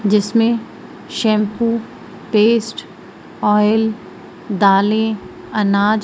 जिसमें shampoo paste oil दालें अनाज--